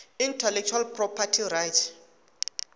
intellectual property rights